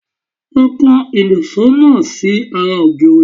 Lọ kan ìṣó náà si ará ògiri